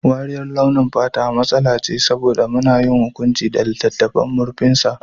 Wariyar launin fata matsala ce saboda muna yin hukunci da littafin da murfinsa.